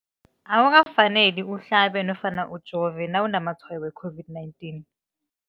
Akuka faneli uhlabe nofana ujove nawu namatshayo we-COVID-19.